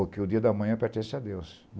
Porque o dia da manhã pertence a Deus.